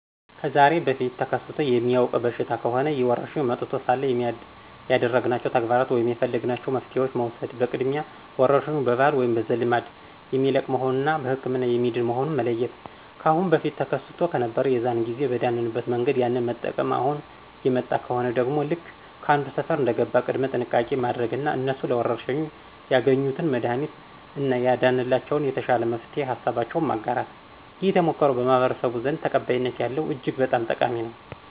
ከዛሬ በፊት ተከስቶ የሚያውቅ በሽታ ከሆነ ይህ ወረርሽኝ መጥቶ ሳለ ያደረግናቸው ተግባራት ወይም የፈለግናቸው መፍትሄዋችን መውሰድ በቅድሚያ ወረርሽኙ በባህል ወይም በዘልማድ የሚለቅ መሆኑን እና በህክምና የሚድን መሆኑን መለየት። ካአሁን በፊት ተከስቶ ከነበር የዛን ጊዜ በዳንበት መንገድ ያንን መጠቅም፣ አሁን የመጣ ከሆነ ደግሞ ልክ ከአንዱ ሰፈር እንደገባ ቅድመ ጥንቃቄ ማድረግ እና እነሱ ለወረርሽኙ ያገኙትን መድሀኒት እና ያዳነላቸውን የተሻለ መፍትሄ ሀሳባቸውን ማጋራት። ይህ ተሞክሮ በማህበረስቡ ዘንድ ተቀባይነት ያለው እጅግ በጣም ጠቃሚ ነው።